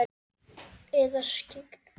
Eða skyggn?